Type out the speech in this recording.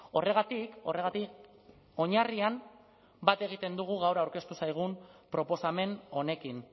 horregatik horregatik oinarrian bat egiten dugu gaur aurkeztu zaigun proposamen honekin